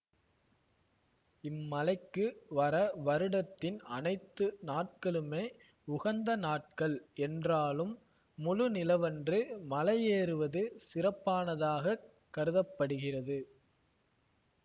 இம்மலைக்கு வர வருடத்தின் அனைத்து நாட்களுமே உகந்த நாட்கள் என்றாலும் முழு நிலவன்று மலையேறுவது சிறப்பானதாகக் கருத படுகிறது